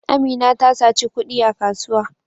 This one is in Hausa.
Amina ta saci kudi a kasuwa.